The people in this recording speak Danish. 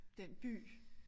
Den by